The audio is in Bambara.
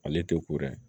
Ale tɛ ko dɛ